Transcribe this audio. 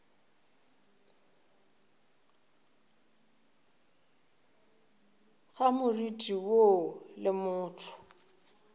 ga moriti woo le motho